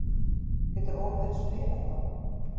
Getur Oliver spilað þá?